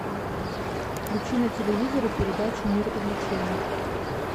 включи на телевизоре передачу мир увлечений